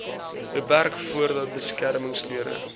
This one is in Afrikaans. beperk voordat beskermingsklere